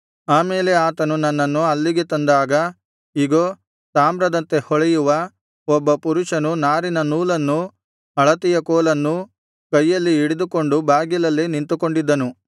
ಆಮೇಲೆ ಆತನು ನನ್ನನ್ನು ಅಲ್ಲಿಗೆ ತಂದಾಗ ಇಗೋ ತಾಮ್ರದಂತೆ ಹೊಳೆಯುವ ಒಬ್ಬ ಪುರುಷನು ನಾರಿನ ನೂಲನ್ನು ಅಳತೆಯ ಕೋಲನ್ನೂ ಕೈಯಲ್ಲಿ ಹಿಡಿದುಕೊಂಡು ಬಾಗಿಲಲ್ಲೇ ನಿಂತುಕೊಂಡಿದ್ದನು